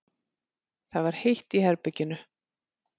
Það var heitt í herberginu.